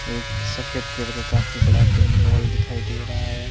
एक सफेद करके काफी बड़ा पिंडोल दिखाई दे रहा है।